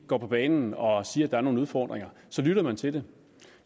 går på banen og siger at der er nogle udfordringer så lytter man til det